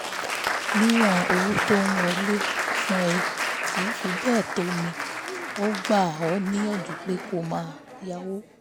níwọ̀n owó tó ń wọlé fún ẹ kì í fi bẹ́ẹ̀ tó mi ò gbà ọ́ níyànjú pé kó o má yáwó